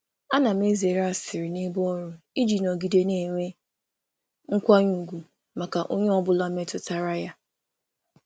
M na-ezere asịrị n’ebe ọrụ iji ọrụ iji nọgide na-enwe ọnọdụ nkwanye ùgwù maka onye ọ bụla metụtara.